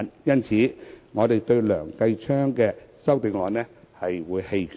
因此，對於梁繼昌議員的修正案，我們會棄權。